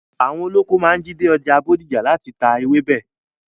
Àwọn olóko máa ń jí dé ọjà Bódìjà láti ta ewébẹ̀.